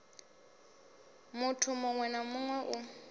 muthu muṅwe na muṅwe u